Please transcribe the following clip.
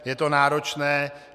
Je to náročné.